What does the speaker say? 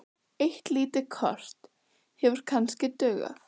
Eitt lítið kort hefði kannski dugað.